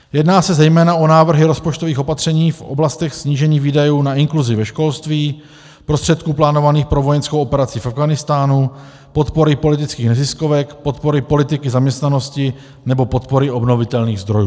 Jedná se zejména o návrhy rozpočtových opatření v oblastech snížených výdajů na inkluzi ve školství, prostředků plánovaných pro vojenskou operaci v Afghánistánu, podpory politických neziskovek, podpory politiky zaměstnanosti nebo podpory obnovitelných zdrojů.